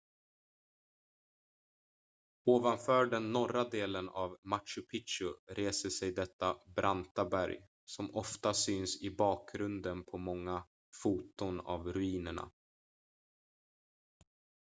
ovanför den norra delen av machu picchu reser sig detta branta berg som ofta syns i bakgrunden på många foton av ruinerna